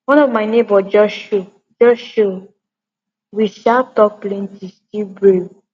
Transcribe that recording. one of my neighbour just show just show we sha talk plenty still brew